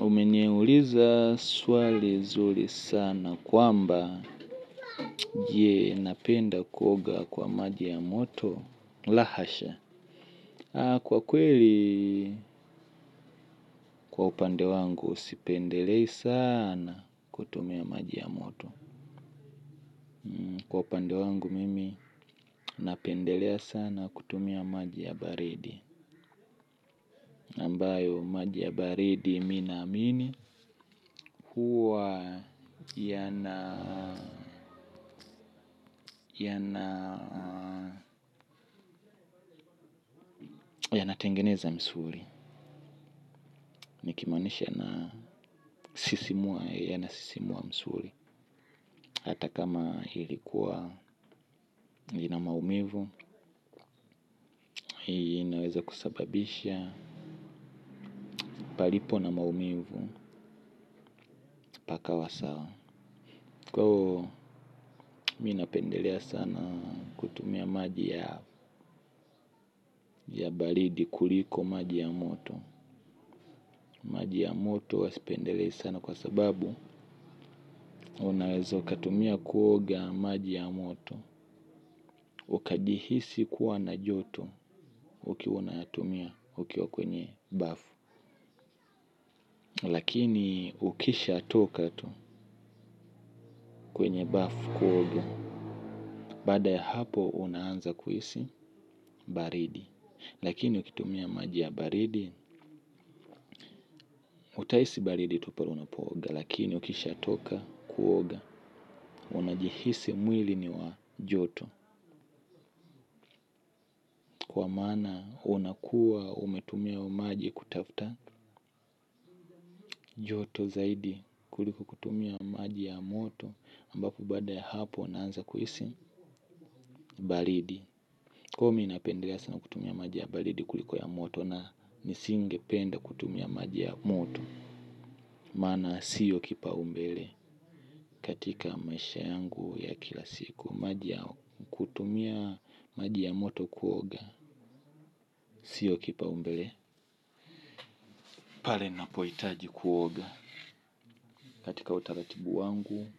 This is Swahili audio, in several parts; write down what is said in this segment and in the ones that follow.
Umeniuliza swali zuli sana kwamba je napenda kuoga kwa maji ya moto la hasha kwa kweli kwa upande wangu sipendelei sana kutumia maji ya moto. Kwa upande wangu mimi napendelea sana kutumia maji ya baridi ambayo maji ya baridi mi naamini. Huwa yana yanatengeneza msuli. Nikimaanisha yanasisimua msuli. Hata kama hili kuwa ina maumivu. Inaweza kusababisha palipo na maumivu pakawa sawa. Kwa ivo mi napendelea sana. Tumia maji ya balidi kuliko maji ya moto. Maji ya moto huwa sipendelei sana kwa sababu unaweza ukatumia kuoga maji ya moto. Ukajihisi kuwa na joto ukiwa unayatumia ukiwa kwenye bafu. Lakini ukisha toka tu kwenye bafu kuoga. Baada ya hapo unaanza kuhisi baridi. Lakini ukitumia maji ya baridi. Utaisi baridi tu pale unapooga. Lakini ukisha toka kuoga. Unajihisi mwili ni wa joto. Kwa maana unakuwa umetumia maji kutafuta joto zaidi kuliko kutumia maji ya moto ambapo baada ya hapo naanza kuhisi balidi. Ko mi napendelea sana kutumia maji ya balidi kuliko ya moto. Na nisingependa kutumia maji ya moto. Maana siyo kipaumbele katika maisha yangu ya kila siku maji yao. Kutumia maji ya moto kuoga siyo kipaumbele pale napoitaji kuoga katika utaratibu wangu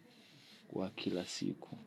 wa kila siku.